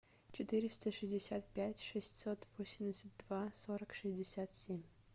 четыреста шестьдесят пять шестьсот восемьдесят два сорок шестьдесят семь